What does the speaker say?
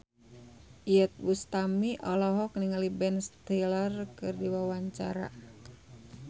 Iyeth Bustami olohok ningali Ben Stiller keur diwawancara